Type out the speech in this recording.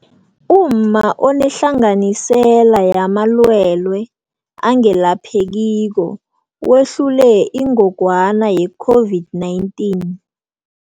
Umma Onehlanganisela Yamalwele Angelaphekiko Wehlule ingogwana ye-COVID-19